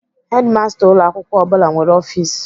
Hedimasta ụlọ akwụkwọ ọ bụla nwere ọfis.